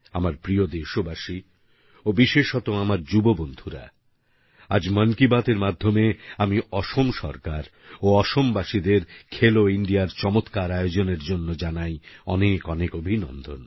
আমার প্রিয় দেশবাসী ও বিশেষত আমার যুব বন্ধুরা আজ মন কি বাত এর মাধ্যমে আমি অসম সরকার ও অসম বাসীদের খেলো ইন্ডিয়ার চমৎকার আয়োজনের জন্য জানাই অনেক অনেক অভিনন্দন